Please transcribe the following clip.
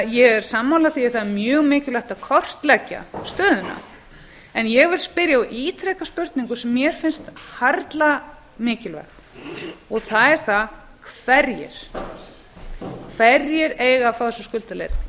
ég er sammála því að það er mjög mikilvægt að kortleggja stöðuna en ég vil spyrja og ítreka spurningu sem mér finnst harla mikilvæg hverjir eiga að fá þessa